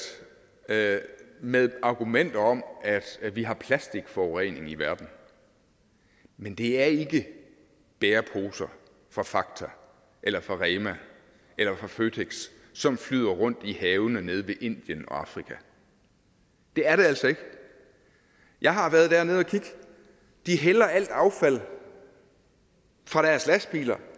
med med argumenter om at vi har plastikforurening i verden men det er ikke bæreposer fra fakta eller fra rema eller fra føtex som flyder rundt i havene nede ved indien og afrika det er det altså ikke jeg har været dernede og kigge de hælder al affald fra deres lastbiler